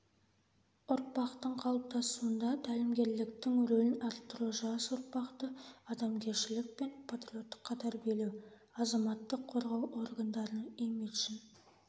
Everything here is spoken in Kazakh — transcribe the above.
ұрпақтың қалыптасуында тәлімгерліктің рөлін арттыру жас ұрпақты адамгершілік пен патриоттыққа тәрбиелеу азаматтық қорғау органдарының имиджін